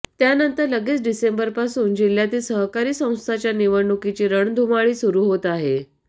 त्यानंतर लगेच डिसेंबरपासून जिल्ह्यातील सहकारी संस्थांच्या निवडणुकीची रणधुमाळी सुरू होत आहे